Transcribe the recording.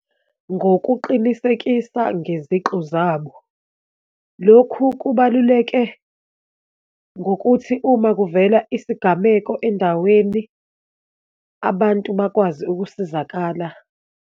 Ngokuqinisekisa ngeziqu zabo. Lokhu kubaluleke ngokuthi uma kuvela isigameko endaweni abantu bakwazi ukusizakala.